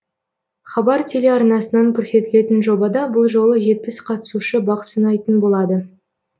хабар телеарнасынан көрсетілетін жобада бұл жолы жетпіс қатысушы бақ сынайтын болады